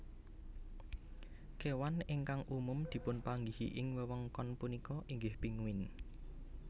Kéwan ingkang umum dipunpanggihi ing wewengkon punika inggih pinguin